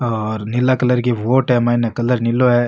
और नीला कलर की बोट है माइने कलर नीलो है।